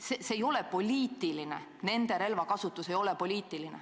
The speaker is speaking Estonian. Selles ei ole midagi poliitilist, nende relvakasutus ei ole poliitiline.